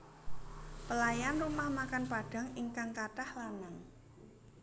Pelayan rumah makan Padang ingkang katah lanang